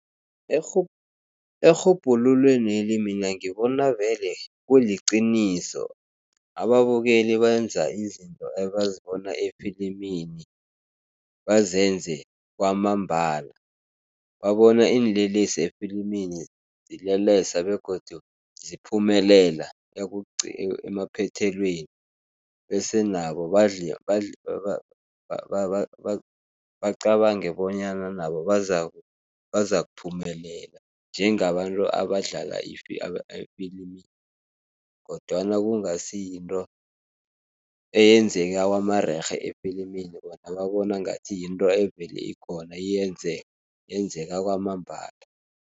Erhubhululweneli mina ngibona vele kuliqiniso, ababukeli benza izinto ebazibona efilimini bazenze kwamambala. Babona iinlelesi efilimini zilelesa, begodu ziphumelela emaphethelweni, bese nabo bacabange bonyana nabo bazakuphumelela njengabantu abadlala efilimini, kodwana kungasi yinto eyenzeka kwamarerhe efilimini, bona babona ngathi yinto evele ikhona iyenzeke, yenzeka kwamambala.